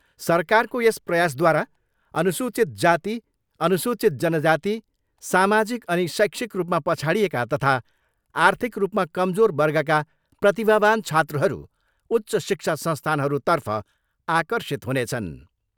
सरकारको यस प्रयासद्वारा अनुसूचित जाति, अनुसूचित जनजाति, सामाजिक अनि शैक्षिक रूपमा पछाडिएका तथा आर्थिक रूपमा कमजोर वर्गका प्रतिभावान छात्रहरू उच्च शिक्षा संस्थानहरूतर्फ आकर्षित हुनेछन्।